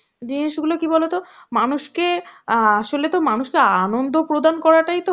জিনিসগুলো কী বলতো মানুষকে আ~ আসলেতো মানুষকে আনন্দ প্রদান করাটাই তো